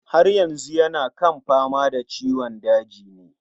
Haryazu yana kan fama da ciwon dajin ne?